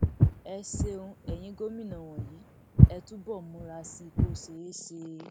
ẹ ṣeun eyín gómìnà wọnyí ẹ túbọ múra sí i kó ṣeé ṣe